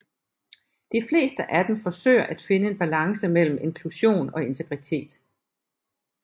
De fleste af dem forsøger at finde en balance mellem inklusion og integritet